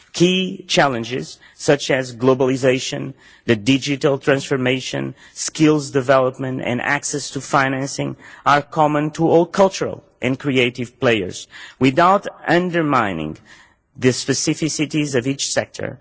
Key challenges such as globalisation, the digital transformation, skills development and access to financing are common to all cultural and creative players without undermining the specificities of each sector.